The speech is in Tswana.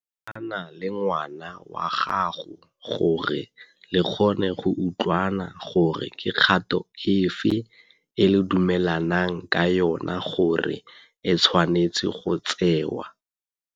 Thusana le ngwana wa gago gore le kgone go utlwana gore ke kgato e fe e le dumelanang ka yona gore e tshwanetse go tsewa.